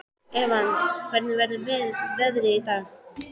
Evan, hvernig er veðrið í dag?